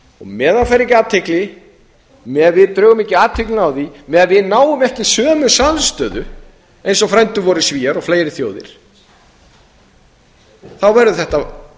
meðan það fær ekki athygli meðan við drögum ekki athyglina að því meðan við náum ekki sömu samstöðu eins og frændur vorir svíar og fleiri þjóðir verður þetta á